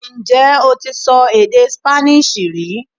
Ǹjẹ́ o ti sọ èdè Spanish rí